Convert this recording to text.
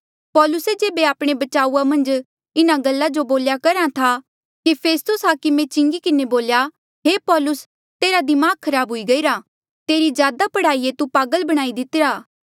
पौलुस जेबे आपणे बचाऊआ मन्झ इन्हा गल्ला जो बोल्या करहा था कि फेस्तुस हाकमे चिंगी किन्हें बोल्या हे पौलुस तेरा दमाग खराब हुई गईरा तेरी ज्यादा पढ़ाई ऐें तू पागल बणाई दितिरा